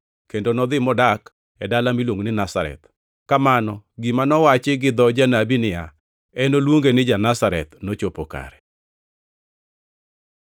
kendo nodhi modak e dala miluongo ni Nazareth. Kamano gima nowachi gi dho janabi niya, “Enoluonge ni ja-Nazareth,” nochopo kare.